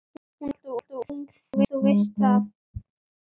Hún er alltof ung, þú veist það.